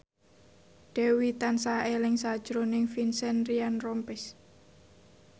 Dewi tansah eling sakjroning Vincent Ryan Rompies